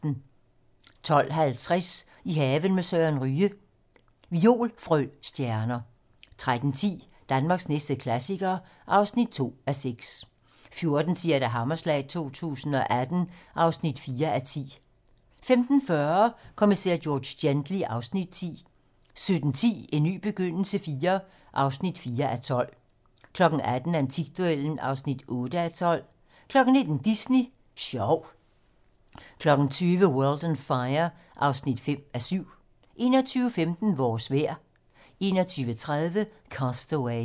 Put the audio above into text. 12:50: I haven med Søren Ryge: Violfrøstjerner 13:10: Danmarks næste klassiker (2:6) 14:10: Hammerslag 2018 (4:10) 15:40: Kommissær George Gently (Afs. 10) 17:10: En ny begyndelse IV (4:12) 18:00: Antikduellen (8:12) 19:00: Disney Sjov 20:00: World on Fire (5:7) 21:15: Vores vejr 21:30: Cast Away